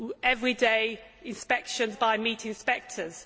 have everyday inspections by meat inspectors.